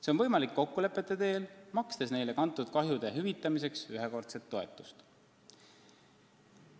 See on võimalik kokkulepete teel, makstes neile kantud kahju hüvitamiseks ühekordset toetust.